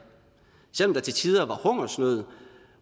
selv om der til tider var hungersnød